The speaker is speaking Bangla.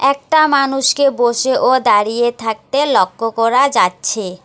একটা মানুষকে বসে ও দাঁড়িয়ে থাকতে লক্ষ্য করা যাচ্ছে।